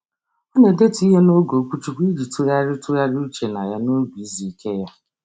Ọ na-edetu ihe n'oge okwuchukwu iji tụgharị tụgharị uche na ya n'oge izu ike ya.